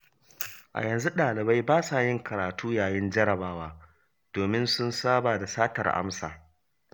A yanzu ɗalibai basa yin karatu yayin jarrabawa, domin sun saba da satar amsa.